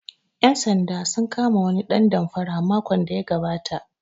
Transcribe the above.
Ƴan sanda sun kama wani ɗan damfara makon da ya gabata